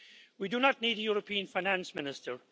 We do not need a European finance minister.